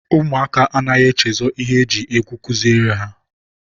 ụmụaka anaghị echezọ ihe e ji egwu kuziere ha.